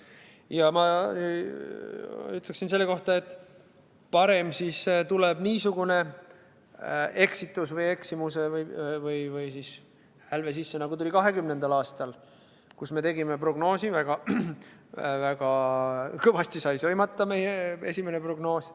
Ja ma ütleksin selle kohta, et parem siis tuleb niisugune eksitus või eksimus või hälve sisse, nagu tuli 2020. aastal, kus me tegime prognoosi – väga kõvasti sai sõimata meie esimene prognoos.